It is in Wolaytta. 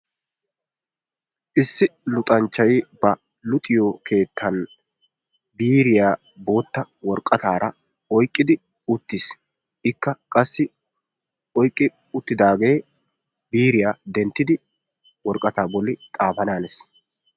Issi luxanchchay ba luxiyo keettan biiriyaa boottaa woraqqataara oyqqidi uttiis. Ikka qassi oyqqi uttidaagee biiriyaa denttidi worqqataa bolli xaafana hanees.